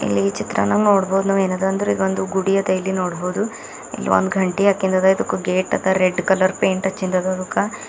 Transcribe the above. ಇಲ್ಲಿ ಚಿತ್ರಣ ನೋಡಬೊದು ಏನದ ಅಂದ್ರ ಇದೊಂದು ಗುಡಿ ಅದ ಇಲ್ಲಿ ನೋಡಬೊದು ಇಲ್ಲಿ ಒಂದ ಗಂಟಿ ಆಕಿಂದ ಅದ ಇದಕ ಗೇಟ್ ಅದ ರೆಡ್ ಕಲರ್ ಪೇಂಟ್ ಹಚ್ಚಿಂದ ಅದ ಅದಕ.